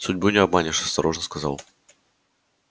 судьбу не обманешь осторожно сказал